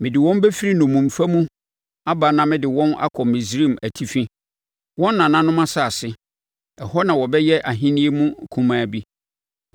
Mede wɔn bɛfiri nnommumfa mu aba na mede wɔn akɔ Misraim Atifi, wɔn nananom asase. Ɛhɔ na wɔbɛyɛ ahennie mu kumaa bi.